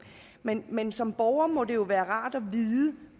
men men som borger må det jo noget være rart at vide